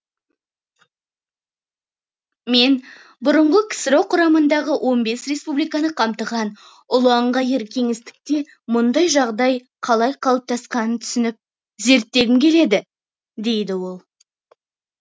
мен бұрынғы ксро құрамындағы он бес республиканы қамтыған ұлан ғайыр кеңістікте мұндай жағдай қалай қалыптасқанын түсініп зерттегім келеді дейді ол